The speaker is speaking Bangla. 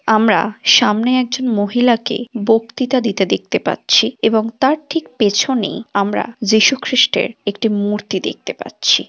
আমরা সামনে একজন মহিলাকে বক্তৃতা দিতে দেখতে পাচ্ছি এবং তার ঠিক পেছনেই আমরা যীশু খ্রিস্টের একটি মূর্তি দেখতে পাচ্ছি।